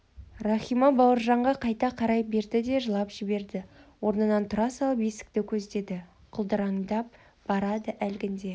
рахима бауыржанға қайта қарай берді де жылап жіберді орнынан тұра салып есікті көздеді құлдыраңдап барады әлгінде